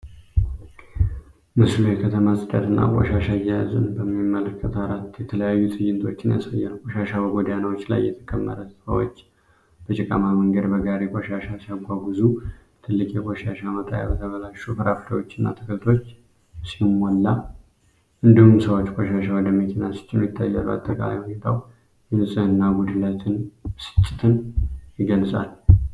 ምስሉ የከተማ ጽዳትና ቆሻሻ አያያዝን በሚመለከት አራት የተለያዩ ትዕይንቶችን ያሳያል። ቆሻሻ በጎዳናዎች ላይ የተከመረ፣ ሰዎች በጭቃማ መንገድ በጋሪ ቆሻሻ ሲያጓጉዙ፣ ትልቅ የቆሻሻ መጣያ በተበላሹ ፍራፍሬዎችና አትክልቶች ሲሞላ፣ እንዲሁም ሰዎች ቆሻሻ ወደ መኪና ሲጭኑ ይታያሉ። አጠቃላይ ሁኔታው የንጽህና ጉድለትንና ብስጭትን ይገልጻል።